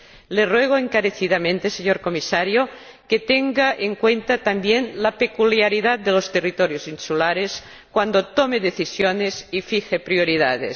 Le ruego encarecidamente, señor Comisario, que tenga en cuenta también la peculiaridad de los territorios insulares cuando tome decisiones y fije prioridades.